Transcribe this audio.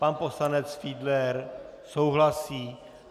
Pan poslanec Fiedler souhlasí.